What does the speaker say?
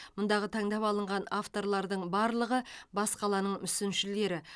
мұндағы таңдап алынған авторлардың барлығы бас қаланың мүсіншілері